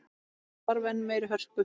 Það þarf enn meiri hörku!